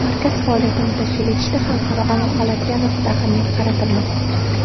Markaz faoliyatini tashkil etishda xalqaro aloqalarga alohida ahamiyat qaratilmoqda.